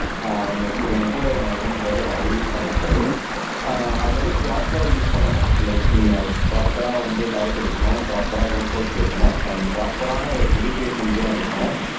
ஆஹ் எங்க என் கூட என் ஓன் பிரதர் அவரு யூஸ் பண்ணி இருக்காரு ஆஹ் அது வந்து ப்ரொபரா யூஸ் பண்ணணும் லைக் நீங்க ப்ரொபரா வந்து டயட் இருக்கணும் ப்ரொபரா ஒர்கவுட்ஸ் இருக்கணும் அண்ட் ப்ரொபரான ஒரு மெடிகேஷன்ஸ்சும் இருக்கணும்